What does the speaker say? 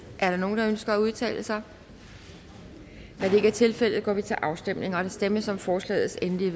er der nogen der ønsker at udtale sig da det ikke er tilfældet går vi til afstemning og der stemmes om forslagets endelige